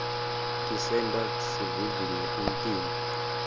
tisenta sivivinye umtimba